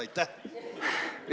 Aitäh!